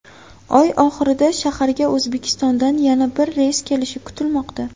Oy oxirida shaharga O‘zbekistondan yana bir reys kelishi kutilmoqda.